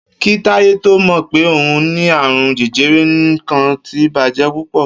Kí Táyé tó mò̩ pé òun ní àrùn je̩je̩re̩, nǹkan ti bàjé̩ púpò̩